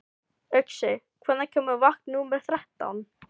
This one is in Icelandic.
Uxi, hvenær kemur vagn númer þrettán?